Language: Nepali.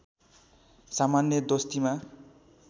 सामान्य दोस्तीमा